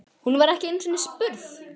Hún var ekki einu sinni spurð!